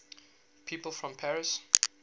people from paris